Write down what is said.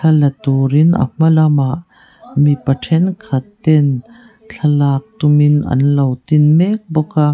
thla turin a hma lamah mipa thenkhat ten thlalak tumin anlo tin mek bawk a.